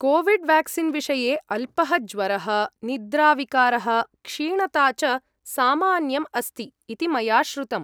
COVID vaccine विषये अल्पः ज्वरः, निद्राविकारः, क्षीणता च सामान्यम् अस्ति इति मया श्रुतम्।